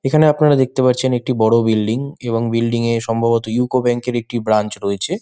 এখানে আপনারা দেখতে পারছেন একটি বড় বিল্ডিং এবং বিল্ডিং এর সম্ভবত ইউকো ব্যাংক এর একটি ব্রাঞ্চ রয়েছে।